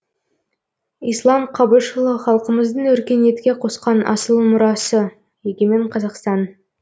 ислам қабышұлы халқымыздың өркениетке қосқан асыл мурасы егемен қазақстан